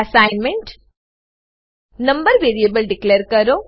assignment number variable declare કરો